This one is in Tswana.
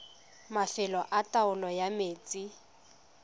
mafelo a taolo ya metsi